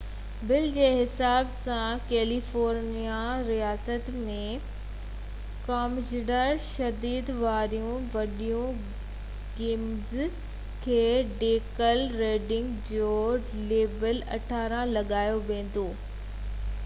bill جي حساب سان ڪيليفورنيا رياست ۾ وڪامجندڙ تشدد واريون وڊيو گيمز کي ڊيڪل ريڊنگ جو ليبل 18 لڳايو ويندو ۽ ٻارن کي وڪڻڻ سزا جوڳو هوندو جنهن جو ڏنڊ 1000 آمريڪي ڊالر في ڏوه تي هوندو